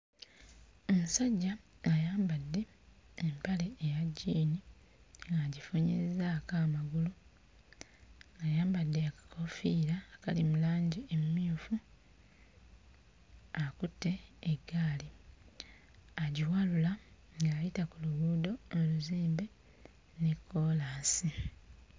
Omusajja ayambadde empale eya jjiini agifunyizzaako amagulu, ayambadde akakoofiira akali mu langi emmyufu, akutte eggaali agiwalula ng'ayita ku luguudo oluzimbe ne kkoolaasi.